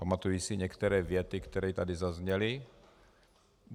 Pamatuji si některé věty, které tady zazněly.